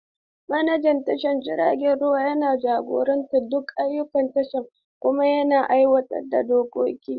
Manajan tashar jiragen ruwa yana jagorantar duk ayyukan tashar kuma yana aiwatar da dokoki.